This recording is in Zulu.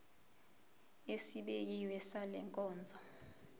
esibekiwe sale nkonzo